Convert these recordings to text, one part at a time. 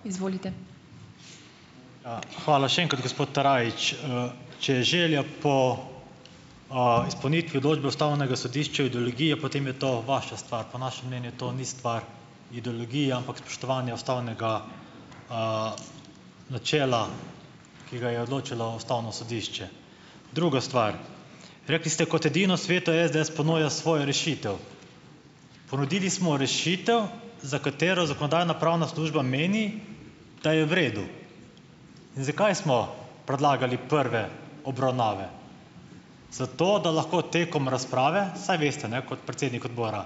Ja, hvala še enkrat. Gospod Rajić, če je želja po, izpolnitvi odločbe ustavnega sodišču o ideologiji, potem je to vaša stvar. Po našem mnenju to ni stvar ideologij, ampak spoštovanje ustavnega načela, ki ga je odločilo ustavno sodišče. Druga stvar. Rekli ste: "Kot edino sveto SDS ponuja svojo rešitev." Ponudili smo rešitev, za katero zakonodajno-pravna služba meni, da je v redu in zakaj smo predlagali prve obravnave? Zato, da lahko tekom razprave, saj veste, ne, kot predsednik odbora,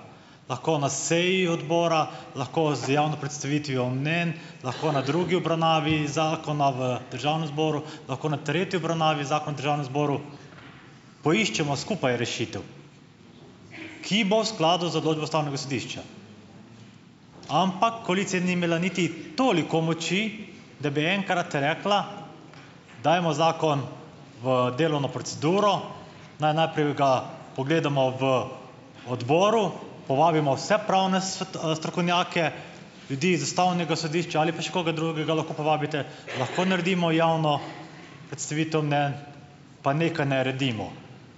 lahko na seji odbora, lahko z javno predstavitvijo mnenj, lahko na drugi obravnavi zakona v državnem zboru, lahko na tretji obravnavi zakon v državnem zboru, poiščemo skupaj rešitev, ki bo skladu z odločbo ustavnega sodišča, ampak koalicija ni imela niti toliko moči, da bi enkrat rekla: "Dajmo zakon v delovno proceduro, naj najprej ga pogledamo v odboru, povabimo vse pravne strokovnjake, ljudi iz ustavnega sodišča, ali pa še koga drugega lahko povabite, lahko naredimo javno predstavitev mnenj, pa nekaj naredimo."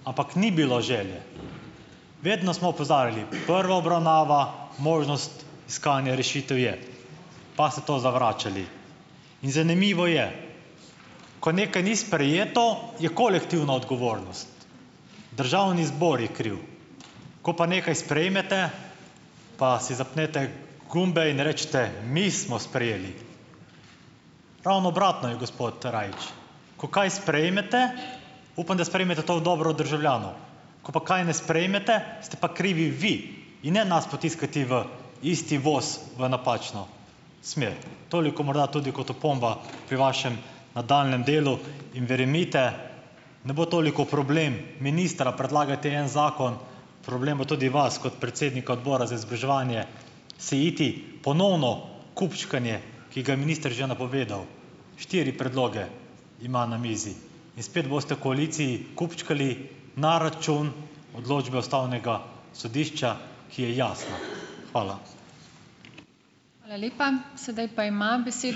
Ampak ni bilo želje. Vedno smo opozarjali, prva obravnava , možnost iskanje rešitev je, pa ste to zavračali. In zanimivo je, ko nekaj ni sprejeto, je kolektivna odgovornost, državni zbor je kriv, ko pa nekaj sprejmete pa si zapnete gumbe in rečete: "Mi smo sprejeli." Ravno obratno je gospod Rajić ... Ko kaj sprejmete, upam, da sprejmete to v dobro državljanov, ko pa kaj ne sprejmete, ste pa krivi vi in ne nas potiskati v isti vozi v napačno smer. Toliko morda tudi kot opomba pri vašem nadaljnjem delu. In verjemite, ne bo toliko problem ministra predlagati en zakon, problem bo tudi vas, kot predsednika odbora za izobraževanje, se iti ponovno kupčkanje, ki ga je minister že napovedal. Štiri predloge ima na mizi in spet boste v koaliciji kupčkali na račun odločbe ustavnega sodišča, ki je jasna . Hvala.